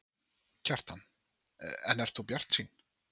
Kjartan: En ert þú bjartsýn?